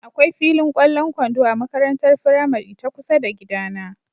Akwai filin ƙwallon kwando a makarantar firamari ta kusa da gidana.